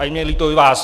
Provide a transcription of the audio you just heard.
A je mně líto i vás!